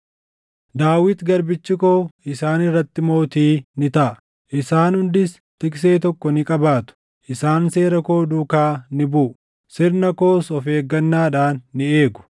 “ ‘Daawit garbichi koo isaan irratti mootii ni taʼa; isaan hundis tiksitee tokko ni qabaatu. Isaan seera koo duukaa ni buʼu; sirna koos of eeggannaadhaan ni eegu.